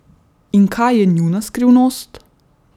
In kaj je njuna skrivnost?